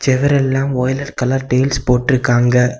செவுரெல்லாம் violet colour tiles போட்டுருக்காங்க.